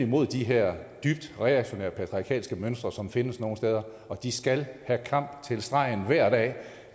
mod de her dybt reaktionære patriarkalske mønstre som findes nogle steder og de skal have kamp til stregen hver dag